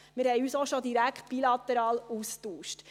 Wir haben uns auch schon direkt bilateral ausgetauscht.